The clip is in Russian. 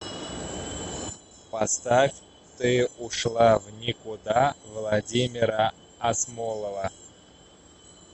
поставь ты ушла в никуда владимира асмолова